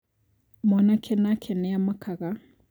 Mwanake nake nĩamakaga